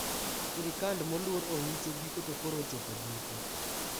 Sirkand moluor Oucho giko to koro ochopo giko